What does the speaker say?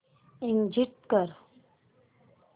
exit कर